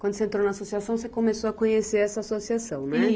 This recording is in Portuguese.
Quando você entrou na associação, você começou a conhecer essa associação, né?